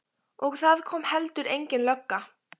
Og það kom heldur engin lögga.